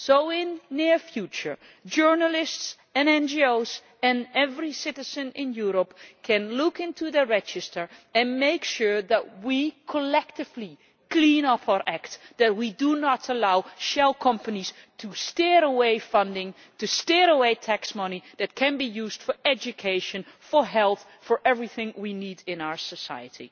So in the near future journalists and NGOs and every citizen in Europe will be able to look at the register and make sure that we collectively clean up our act, that we do not allow shell companies to steer away funding, to steer away tax money that can be used for education, for health, for everything we need in our society.